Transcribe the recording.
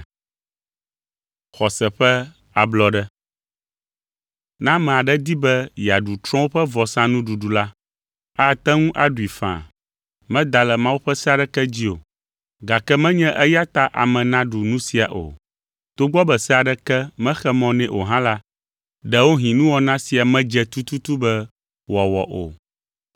Ne ame aɖe di be yeaɖu trɔ̃wo ƒe vɔsanuɖuɖu la, ate ŋu aɖui faa, meda Mawu ƒe se aɖeke dzi o, gake menye eya ta ame naɖu nu sia o. Togbɔ be se aɖeke mexe mɔ nɛ o hã la, ɖewohĩ nuwɔna sia medze tututu be wòawɔ o.